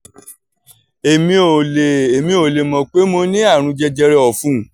èmi ò lè èmi ò lè mọ̀ pé mo ní àrùn jẹjẹrẹ ẹ̀fun